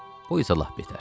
Bu isə lap betər.